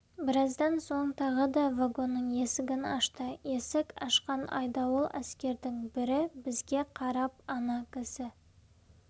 біраздан соң тағы да вагонның есігін ашты есік ашқан айдауыл әскердің бірі бізге қарап ана кісі